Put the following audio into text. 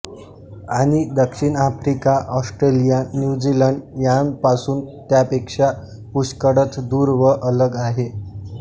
आणि दक्षिण Africa Australia New Zealand यांपासून त्यापेक्षा पुष्कळच दूर व अलग आहे